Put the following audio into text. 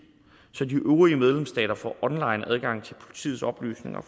så de øvrige medlemsstater får onlineadgang til politiets oplysninger